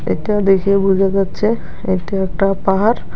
এটা দেখে বুঝা যাচ্ছে এটি একটা পাহাড়।